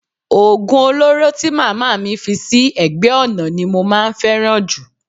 Oògùn olóró tí màmá mi fi sí ẹ̀gbẹ́ ọ̀nà ni mo máa ń fẹ́ràn jù